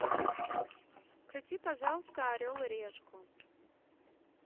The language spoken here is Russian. включи пожалуйста орел и решку